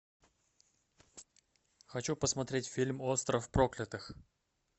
хочу посмотреть фильм остров проклятых